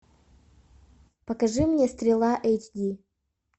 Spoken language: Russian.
покажи мне стрела эйч ди